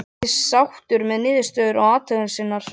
Hann virtist sáttur við niðurstöður athugunar sinnar.